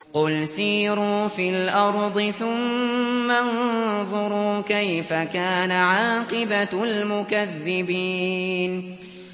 قُلْ سِيرُوا فِي الْأَرْضِ ثُمَّ انظُرُوا كَيْفَ كَانَ عَاقِبَةُ الْمُكَذِّبِينَ